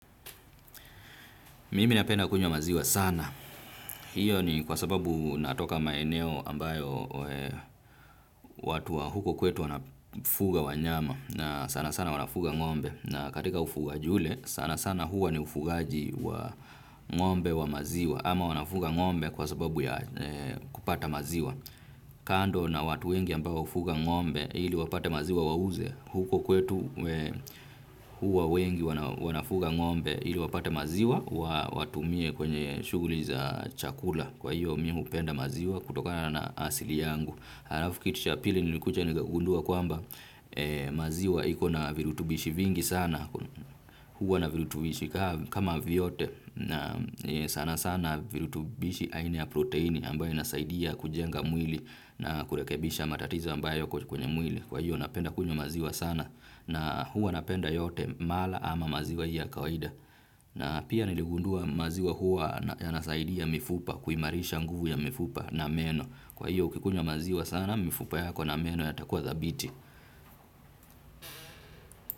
Mimi napenda kunywa maziwa sana. Hiyo ni kwa sababu natoka maeneo ambayo watu wa huko kwetu wanafuga wanyama. Sana sana wanafuga ngombe. Na katika ufugaji ule, sana sana huwa ni ufugaaji wa ngombe wa maziwa. Ama wanafuga ngombe kwa sababu kupata maziwa. Kando na watu wengi ambao ufuga ngombe ili wapate maziwa wauze, huko kwetu huwa wengi wanafuga ngombe ili wapate maziwa watumie kwenye shughuli za chakula kwa hiyo mimi hupenda maziwa kutokana na asili yangu. Halafu kitu cha pili nilikuja nigagundua kwamba maziwa ikona virutubishi vingi sana huwa na virutubishi kama vyote sana sana virutubishi aina ya proteini ambayo inasaidia kujenga mwili na kurekebisha matatiza ambayo kwenye mwili kwa hiyo napenda kunywa maziwa sana na huwa napenda yote mala ama maziwa hiyo kawaida. Na pia niligundua maziwa huwa yanasaidia mifupa kuimarisha nguvu ya mifupa na meno. Kwa hiyo ukikunywa maziwa sana mifupa yako na meno yatakuwa thabiti.